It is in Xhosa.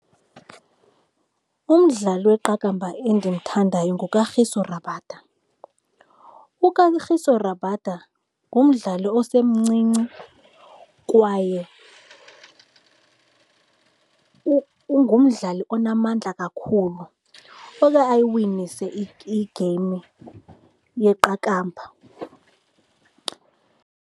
Umdlali weqakamba endimthandayo nguKagiso Rabada. UKagiso Rabada ngumdlali osemncinci kwaye ngumdlali onamandla kakhulu oye ayiwinise igeyimu yeqakamba.